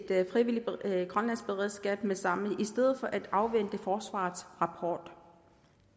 frivilligt grønlandsk beredskab med det samme i stedet for at afvente forsvarets rapport